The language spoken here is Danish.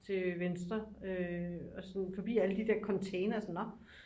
til venstre og sådan forbi alle de der containere sådan nå